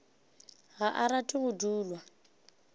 ga a rate go dulwa